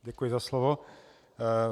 Děkuji za slovo.